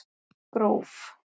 Gróf